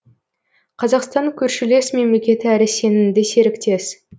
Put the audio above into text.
қазақстан көршілес мемлекет әрі сенімді серіктес